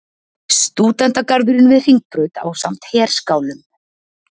Stúdentagarðurinn við Hringbraut ásamt herskálum.